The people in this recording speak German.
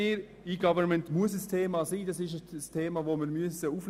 2. E-Government muss ein Thema sein.